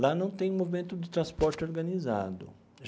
Lá não tem movimento de transporte organizado.